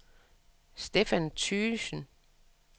Stefan Thygesen